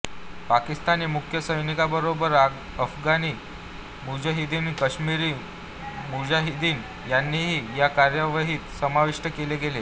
पाकिस्तानी मुख्य सैनिकांबरोबरच अफगाणी मुजाहिदीन काश्मिरी मुजाहिदीन यांनाही या कार्यवाहीत समाविष्ट केले गेले